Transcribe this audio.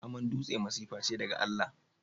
Aman dutse masifa ce daga Allah.